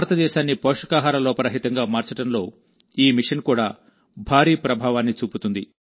భారతదేశాన్ని పోషకాహార లోప రహితంగా మార్చడంలో ఈ మిషన్ కూడా భారీ ప్రభావాన్ని చూపుతుంది